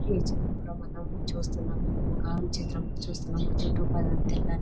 ఈ చిత్రంలో మనం చూస్తున్నాము ఒక చిత్రంలో చూస్తున్నాము --